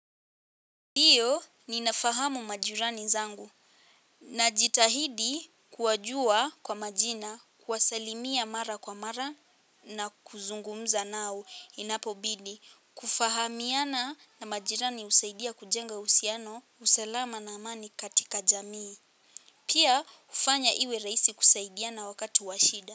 Ndiyo ninafahamu majirani zangu najitahidi kuwajua kwa majina kuwasalimia mara kwa mara na kuzungumza nao inapobidi kufahamiana na majirani husaidia kujenga uhusiano usalama na amani katika jamii pia hufanya iwe rahisi kusaidiana wakati wa shida.